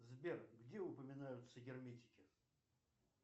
сбер где упоминаются герметики